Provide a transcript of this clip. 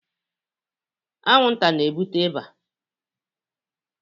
anwụnta na-ebute ịba